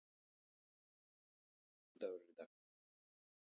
Denni, hvaða vikudagur er í dag?